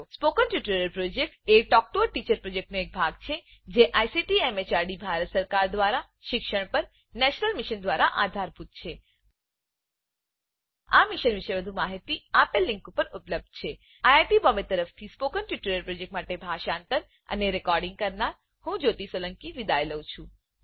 spoken tutorial project a talk to a teacher પ્રોજેક્ટનો એક ભાગ છે જે આઇસીટી એમએચઆરડી ભારત સરકાર દ્વારા શિક્ષણ પર નેશનલ મિશન દ્વારા આધારભૂત છે આ મિશન પર વધુ માહીતી આ લીંક પર ઉપલબ્ધ છે httpspoken tutorialorgNMEICT Intro I I T Bombay તરફથી સ્પોકન ટ્યુટોરીયલ પ્રોજેક્ટ માટે ભાષાંતર કરનાર હું જ્યોતી સોલંકી વિદાય લઉં છું